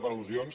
per al·lusions